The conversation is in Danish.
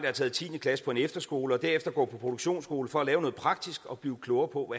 har taget tiende klasse på en efterskole og derefter går på produktionsskole for at lave noget praktisk og blive klogere på